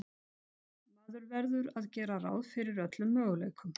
Maður verður að gera ráð fyrir öllum möguleikum.